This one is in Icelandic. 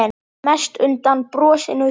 Mest undan brosinu þínu.